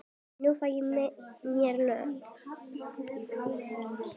Nú fæ ég mér Lödu.